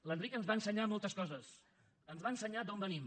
l’enric ens va ensenyar moltes coses ens va ensenyar d’on venim